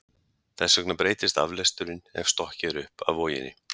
Þess vegna breytist aflesturinn ef stokkið er upp af voginni.